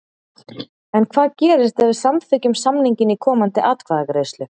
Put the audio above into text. En hvað gerist ef við samþykkjum samninginn í komandi atkvæðagreiðslu?